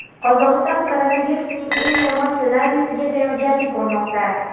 Qozog‘iston koronavirusning eng yomon ssenariysiga tayyorgarlik ko‘rmoqda.